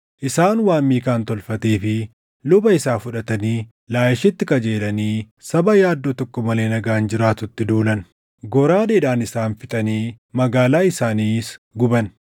Isaan waan Miikaan tolfatee fi luba isaa fudhatanii Laayishitti qajeelanii saba yaaddoo tokko malee nagaan jiraatutti duulan. Goraadeedhaan isaan fixanii magaalaa isaaniis guban.